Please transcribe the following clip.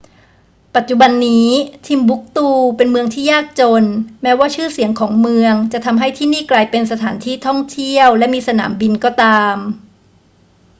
ปัจจุบันนี้ timbuktu เป็นเมืองที่ยากจนแม้ว่าชื่อเสียงของเมืองจะทำให้ที่นี่กลายเป็นสถานที่ท่องเที่ยวและมีสนามบินก็ตาม